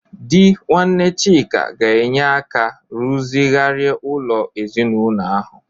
Di nwanne Chika ga-enye aka rụzigharịa ụlọ ezinaụlọ ahu.